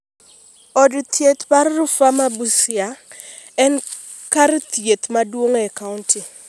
Od thieth mar Rufaa ma Busia en kar thieth maduong’ e kaonti.